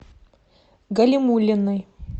галимуллиной